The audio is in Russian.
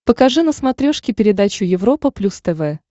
покажи на смотрешке передачу европа плюс тв